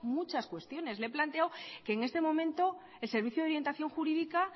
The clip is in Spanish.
muchas cuestiones le he planteado que en este momento el servicio de orientación jurídica